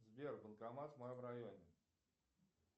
сбер банкомат в моем районе